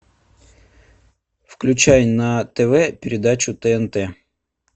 включай на тв передачу тнт